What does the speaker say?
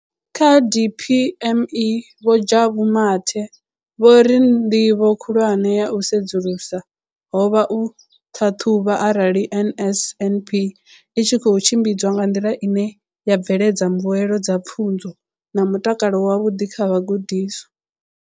Kha DPME, vho Jabu Mathe, vho ri ndivho khulwane ya u sedzulusa ho vha u ṱhaṱhuvha arali NSNP i tshi khou tshimbidzwa nga nḓila ine ya bveledza mbuelo dza pfunzo na mutakalo wavhuḓi kha vhagudiswa.